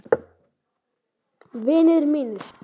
Vinir mínir.